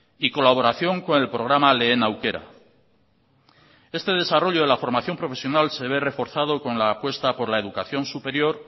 y colaboración con el programa lehen aukera este desarrollo de la formación profesional se ve reforzado con la apuesta por la educación superior